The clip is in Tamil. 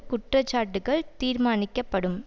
குற்றச்சாட்டுக்கள் தீர்மாணிக்கப்படும்